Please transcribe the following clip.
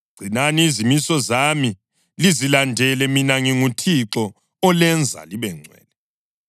Gcinani izimiso zami lizilandele. Mina nginguThixo olenza libengcwele.